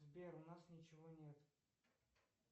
сбер у нас ничего нет